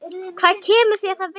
Hvað kemur mér það við?